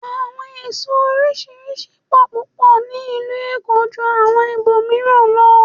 Àwọn èso oríṣiríṣi pọ̀ púpọ̀ ní ìlú Èkó ju àwọn ibò mìíràn lọ.